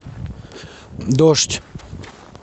дождь